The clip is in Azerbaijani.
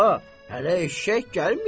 Bala, hələ eşşək gəlməyib.